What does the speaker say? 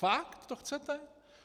Fakt to chcete?